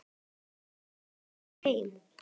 Komst næstum heil heim.